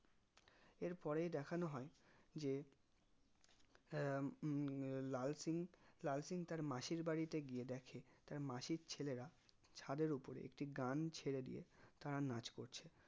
এর পর ই দেখানো হয় যে আহ উহ লাল সিং লাল সিং তার মাসির বাড়িতে গিয়ে দেখে তার মাসির ছেলেরা ছাদের ওপরে একটি গান ছেড়ে দিয়ে তারা নাচ করছে